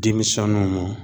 Denmisɛnninw ma